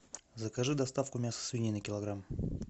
закажи доставку мяса свинины килограмм